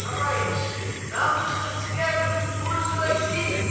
товарищи нам нужно свергнуть буржуазию